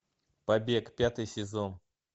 побег пятый сезон